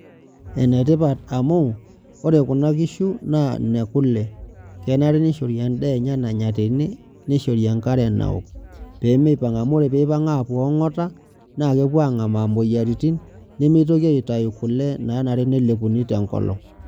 Enetipat amu ore kuna kishu na nekule kenare nishori endaa enye nanya tene niahori enkare naok pemeipang amu ore peipang apuo angata na kepuo angamaa moyiaritin nemeitoki aitau kule nanare nelepuni tenkolong.